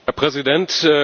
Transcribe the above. Herr Präsident!